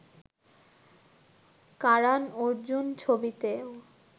Karan Arjun ছবিতেও